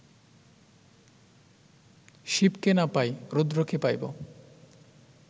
শিবকে না পাই, রুদ্রকে পাইব